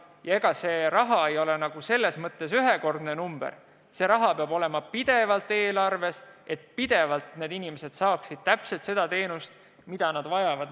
Ja ega see summa ei ole ühekordne number, see raha peab olema pidevalt eelarves, et inimesed saaksid alati seda teenust, mida nad vajavad.